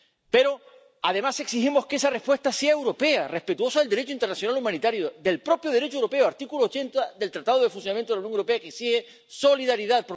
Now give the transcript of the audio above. Pero, además, exigimos que esa respuesta sea europea, respetuosa del Derecho internacional humanitario, del propio Derecho europeo —artículo 80 del Tratado de Funcionamiento de la Unión Europea, que exige solidaridad—.